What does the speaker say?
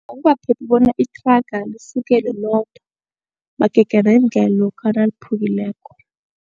Akukaphephi bona ithraga lisukelwe lodwa magega nendlela lokha naliphukileko.